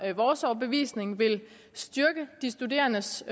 vores overbevisning vil styrke de studerendes